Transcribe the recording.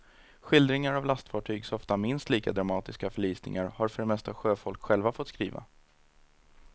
Skildringar av lastfartygs ofta minst lika dramatiska förlisningar har för det mesta sjöfolk själva fått skriva.